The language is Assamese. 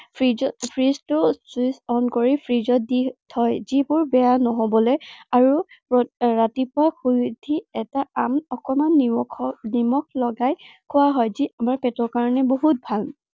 freeze ত এৰ freeze টোত switch on কৰি freeze দি থয়। যিবোৰ বেয়া নহবলে আৰু ৰাতিপুৱা শুই উঠি এটা আম অকনমান নিমখত নিমখ লগাই খোৱা হয়। যি আমাৰ পেটৰ কাৰনে বহুত ভাল।